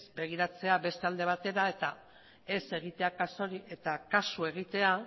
begiratzea beste alde batera eta kasu egitea